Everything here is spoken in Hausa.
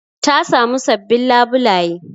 Ta samu sabbin labulaye